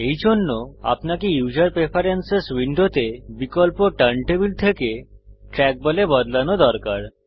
এইজন্য আপনাকে উসের প্রেফারেন্স উইন্ডোতে বিকল্পকে টার্ন টেবল থেকে ট্র্যাকবল এ বদলানো দরকার